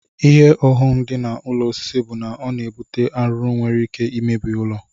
Ihe ọghọm di na ụlọ osisi bu na ọna ebute arụrụ nwere ike imebi ụlọ.